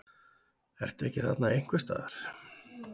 Ertu ekki þarna einhvers staðar?